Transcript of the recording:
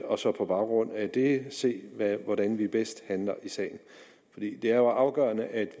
og så på baggrund af det se hvordan vi bedst handler i sagen det er jo afgørende at